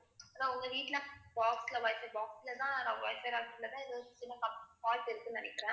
நா~ உங்க வீட்டுல box ல wifi box லதான் ஆஹ் wifi connection லதான் ஏதோ சின்ன fault இருக்குன்னு நினைக்கிறேன்.